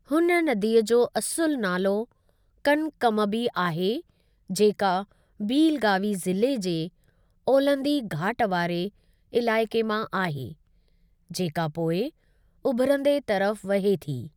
हुन नदीअ जो असुलु नालो कनकमबी आहे, जेका बीलगावी ज़िले जे ओलहंदी घाट वारे इलाइक़े मां आहे, जेका पोइ उभिरंदे तरफ़ वहे थी।